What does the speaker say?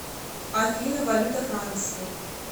афина валюта франции